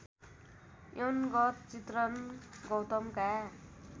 यौनगत चित्रण गौतमका